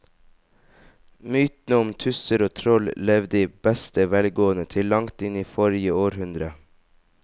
Mytene om tusser og troll levde i beste velgående til langt inn i forrige århundre.